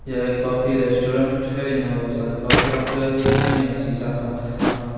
यह coffee restaurant है यहा वो सारी कॉफ़ी रखे हुए है या सीसा का अ--